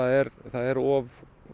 er of